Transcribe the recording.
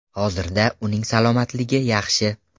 Hozirda uning salomatligi yaxshi.